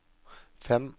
fem